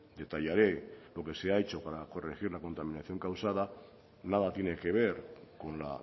detallaré lo que se ha hecho para corregir la contaminación causada nada tiene que ver con la